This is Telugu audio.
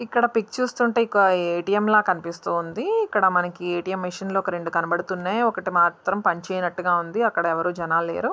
చూస్తుంటే ఇది ఒక ఏ_టీ_ఎం ల కనిపిస్తు ఉంది ఇక్కడ మనకి ఏ_టీ_ఎం మెషిన్ లు ఒక రెండు కనిపిస్తున్నాయి ఒకటి మాత్రం పనిచేయనట్టుగా ఉంది అక్కడ ఎవరు జనాలు లేరు.